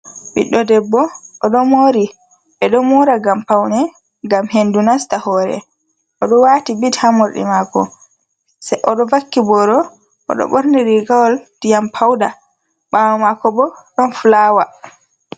Ɓiɗɗo debbo oɗo mori ɓeɗo mora ngam paune, ngam hendu nasta hore, oɗo waati bit ha morɗi mako se oɗo vakki boro oɗo ɓorni rigawol diyam pauda ɓawo mako bo ɗon fulawa.